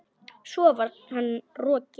Svo var hann rokinn.